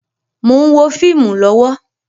Mo ń wo fíìmù lọ́wọ́